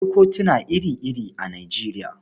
Akwai kutuna ire-ire a Nijeriya.